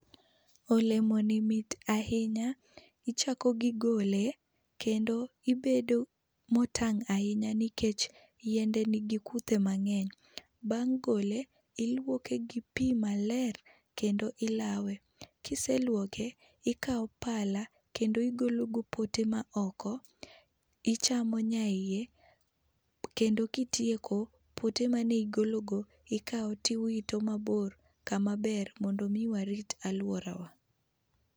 Olemo ni mit ahinya, ichako gigole ichako gi golo ibedo motang' ahinya nikech yiende nigi kuthe mang'eny. Bang' gole, iluoke gi pii maler kendo ilawe. Kiseluoke ikaw pala kendo igolo pote maoko, ichamo nyaiye kendo kitieko pote manigolo go ikao tiwito mabor kama ber mondo mi warit aluorawa.